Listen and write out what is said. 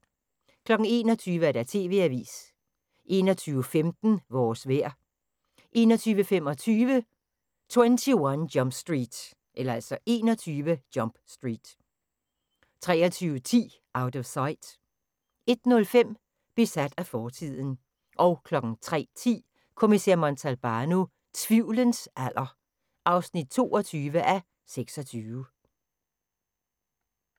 21:00: TV-avisen 21:15: Vores vejr 21:25: 21 Jump Street 23:10: Out of Sight 01:05: Besat af fortiden 03:10: Kommissær Montalbano: Tvivlens alder (22:26)